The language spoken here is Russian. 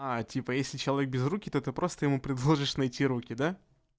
а типа если человек без руки то ты просто ему предложишь найти руки да